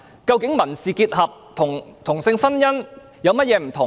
究竟民事結合與同性婚姻有何不同？